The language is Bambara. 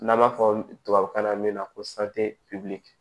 N'an b'a fɔ tubabukan na min ma ko